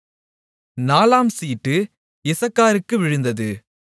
நாலாம் சீட்டு இசக்காருக்கு விழுந்தது